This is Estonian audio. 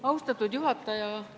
Austatud juhataja!